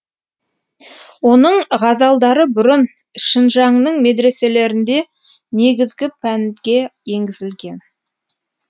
оның ғазалдары бұрын шынжаңның медреселерінде негізгі пәнге енгізілген